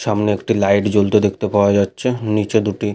সামনে একটি লাইট জ্বলতে দেখতে পাওয়া যাচ্ছে। নিচে দুটি--